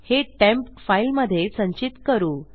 हे temp file मधे संचित करू